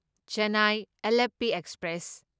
Chennai Alleppey express